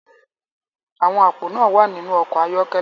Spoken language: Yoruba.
Àwọn àpò náà wà nínú ọkọ̀ ayọ́kẹ́lẹ́